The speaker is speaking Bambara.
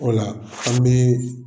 O la an bi